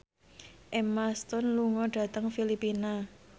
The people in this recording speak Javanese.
Emma Stone lunga dhateng Filipina